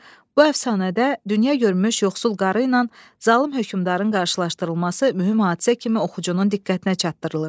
Bu əfsanədə dünya görmüş yoxsul qarı ilə zalım hökmdarın qarşılaşdırılması mühüm hadisə kimi oxucunun diqqətinə çatdırılır.